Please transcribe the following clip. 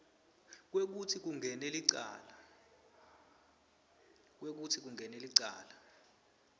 kwekutsi kungene licala